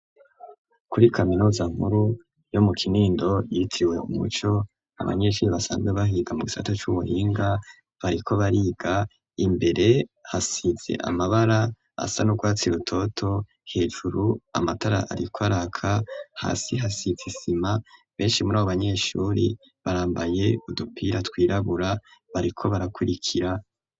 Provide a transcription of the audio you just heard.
kuri kaminuza nkuru yo mu kinindo yitiwe umuco abanyeshuri basanzwe bahiga mu kisato cy'ubuhinga bariko bariga imbere hasize amabara asa n'urwatsi rutoto hejuru amatara ariko araka hasi hasize isima benshi muri ao abanyeshuri barambaye udupira twirabura bariko barakurikira